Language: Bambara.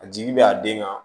A jigi bɛ a den kan